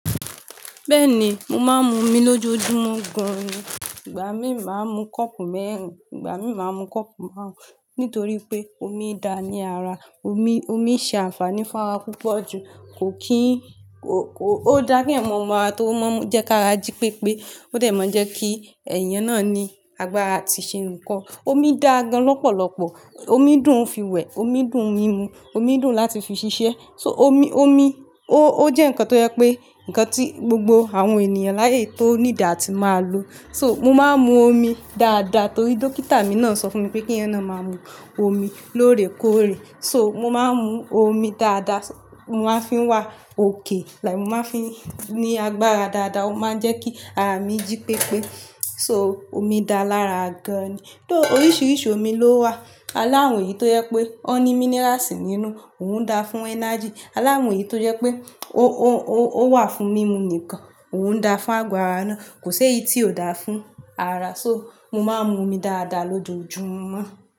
Bẹ́ẹ̀ni, mo máa ń mu omi lójoojúmọ́ gan-an, ìgbà mí máa ń mu kọ́ọ̀pù mẹ́rin, ìgbà mí máa ń mu kọ́ọ̀pù márùn-ún nítorí pé omi da ní ara. Omi, omi ṣe àǹfààní fún ara púpọ̀ ju. Kò kí n ko, ko, ó dá kì eyan mọ̀ mọ́ on tó máa ń jẹ́ kára jí pépé, ó dẹ̀ máa ń jẹ́ kí ẹ̀yàn náà ní agbára àti ṣe nǹkan. Omi dà gan lọ́pọ̀lọpọ̀. Omi dùn fi wẹ̀, omi dùn mímu, omi dùn láti fi ṣiṣẹ́. Omi, omi ó, ó jẹ́ nǹkan tó jẹ pé, ǹkan tí gbogbo àwọn ènìyàn láyé yi tó need á ti máa lò. To mo máa ń mu omi dáadáa torí dókítà mi náà sọ fún mi pé kí ẹyan na máa mú omi lóore kóòrè. So mo máa ń mu omi dáadáa, mo máa ń fi wà òkè, like mo máa ń fi ní agbára dáadáa ó máa ń jẹ́ kí ara mi jí pépé. So omi da lára gan-an ni. Tó oríṣiríṣi omi ló wà. Aláwon èyí tó jẹ pé wón ní minerals nínú òun da fún energy. Aláwon èyí tó jẹ pé ó, ó, ó, o wà fún mímu nìkan, òun da fún ago ara náà. Kò ṣi éyí tí ò dara fún ara. So mo máa ń mu omi dáadáa lójoojúmọ́.